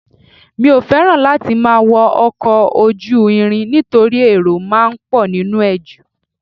Mi ò fẹ́ràn láti máa wọ́ ọkọ̀ ojú irin nítorí èrò ti máa ń pọ nínú ẹ̀ ju